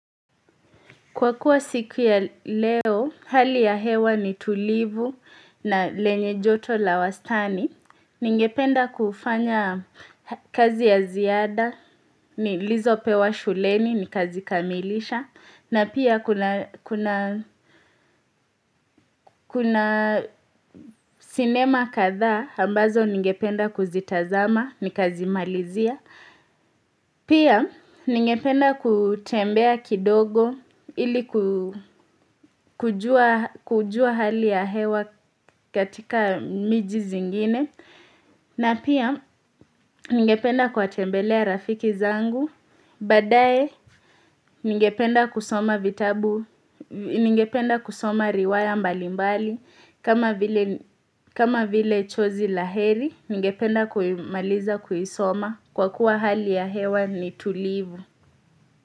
Kwa kuwa siku ya leo, hali ya hewa ni tulivu na lenye joto la wastani. Ningependa kufanya kazi ya ziada, nilizopewa shuleni, ni kazi kamilisha. Na pia kuna sinema kadhaa, ambazo ningependa kuzitazama, nikazimalizia. Pia ningependa kutembea kidogo ili kujua hali ya hewa katika miji zingine na pia ningependa kuwatembelea rafiki zangu, baadae ningependa kusoma vitabu, ningependa kusoma riwaya mbalimbali kama vile chozi la heri ningependa kuimaliza kuisoma kwa kuwa hali ya hewa ni tulivu.